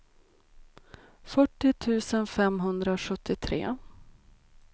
fyrtio tusen femhundrasjuttiotre